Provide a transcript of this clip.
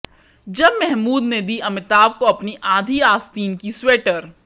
जब महमूद ने दी अमिताभ को अपनी आधी आस्तीन की स्वेटर